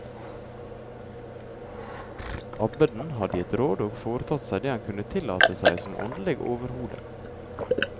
Abbeden hadde gitt råd og foretatt seg det han kunne tillate seg som åndelig overhode.